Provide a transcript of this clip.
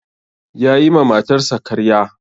Ya yi ma matarsa karyar.